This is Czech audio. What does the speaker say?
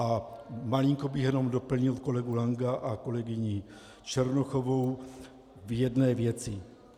A malinko bych jenom doplnil kolegu Lanka a kolegyni Černochovou v jedné věci.